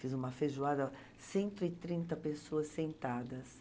Fiz uma feijoada, cento e trinta pessoas sentadas.